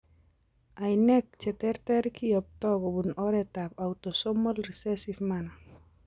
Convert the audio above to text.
Ainek cheterter kiyoptoi kobun oretab autosomal recessive manner.